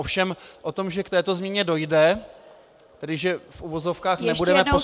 Ovšem o tom, že k této změně dojde, tedy že v uvozovkách nebudeme postupovat -